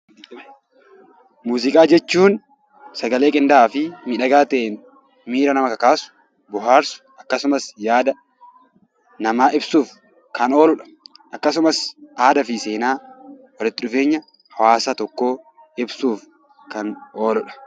Muuziqaa jechuun sagantaalee qindaa'aa fi miidhagaa ta'en miira nama kakaasu, bohaarsu akkasumas yaada namaa ibsuuf kan ooludha. Akkasumas aadaa fi seenaa walitti dhufeenya hawaasa tokko ibsuuf kan ooludha.